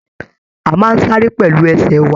A máa n sáré pẹlú ẹsẹ wa